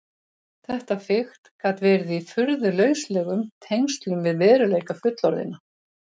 Þetta fikt gat verið í furðu lauslegum tengslum við veruleika fullorðinna.